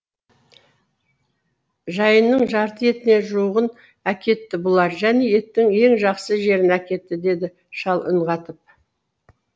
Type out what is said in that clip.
жайынның жарты етіне жуығын әкетті бұлар және еттің ең жақсы жерін әкетті деді шал үн қатып